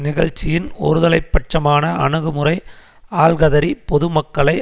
நிகழ்ச்சியின் ஒருதலை பட்சமான அணுகுமுறை ஆல்கதிரி பொதுமக்களை